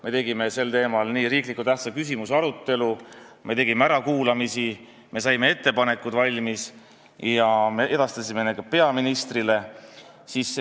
Me tegime sel teemal riikliku tähtsusega küsimuse arutelu, me tegime ärakuulamisi, me saime ettepanekud valmis ja me edastasime need ka peaministrile.